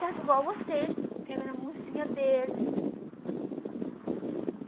Trato igual vocês, pegando a mãozinha deles.